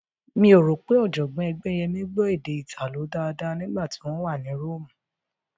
Mi ò rò pé Ọ̀jọ̀gbọ́n Ẹgbẹ́yẹmí gbọ́ èdè Ìtàló dáadáa nígbà tí wọ́n wà ní Róòmù